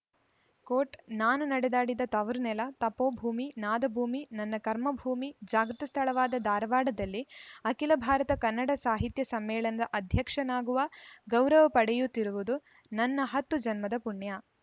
coat ನಾನು ನಡೆದಾಡಿದ ತವರು ನೆಲ ತಪೋಭೂಮಿ ನಾದಭೂಮಿ ನನ್ನ ಕರ್ಮಭೂಮಿ ಜಾಗೃತ ಸ್ಥಳವಾದ ಧಾರವಾಡದಲ್ಲಿ ಅಖಿಲ ಭಾರತ ಕನ್ನಡ ಸಾಹಿತ್ಯ ಸಮ್ಮೇಳನದ ಅಧ್ಯಕ್ಷನಾಗುವ ಗೌರವ ಪಡೆಯುತ್ತಿರುವುದು ನನ್ನ ಹತ್ತು ಜನ್ಮದ ಪುಣ್ಯ